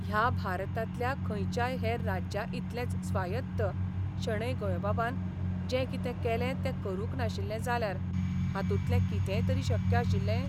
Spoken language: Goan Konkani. ह्या भारतांतल्या खंयच्याय हेर राज्याइतलेंच स्वायत्त शणै गोंयबाबान जें कितें केलें तें करूंक नाशिल्ले जाल्यार हातूंतलें कितेंय तरी शक्य आशिल्लें?